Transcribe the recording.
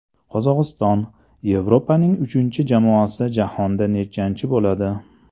Qozog‘iston: Yevropaning uchinchi jamoasi jahonda nechanchi bo‘ladi?.